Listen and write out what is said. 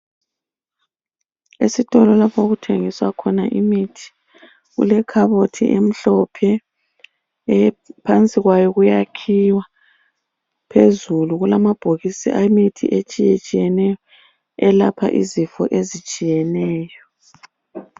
Esitolo lapho okuthengiswa khona imithi kulekhabothi emhlophe ephansi kwayo kuyakhiwa , phezulu kulamabhokisi emithi etshiyetshiyeneyo elapha izifo ezitshiyeneyo